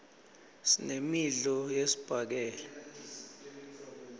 sinemidlo yesibhakela